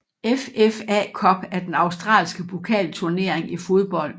FFA Cup er den australske pokalturnering i fodbold